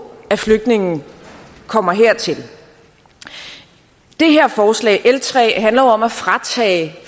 at flygtningene kommer hertil det her forslag l tre handler jo om at fratage